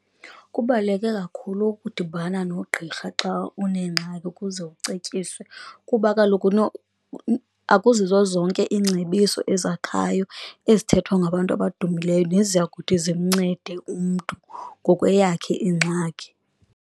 Kubaluleke kakhulu ukudibana nogqirha xa uneengxaki ukuze ucetyiswe, kuba kaloku akuzizo zonke iingcebiso ezakhayo ezithethwa ngabantu abadumileyo neziyakuthi zimncede umntu ngokweyakhe ingxaki.